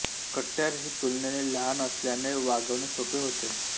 कट्यार ही तूलनेने लहान असलयाने वागवणे सोपे होते